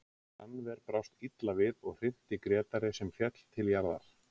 Rannver brást illa við og hrinti Grétari sem féll til jarðar.